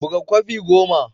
Buga kwafi goma.